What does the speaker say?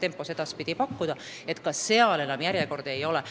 tempot ka edaspidi hoida, nii et seal enam järjekordi ei teki.